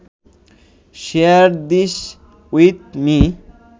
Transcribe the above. share this with me